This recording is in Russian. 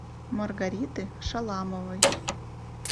маргариты шаламовой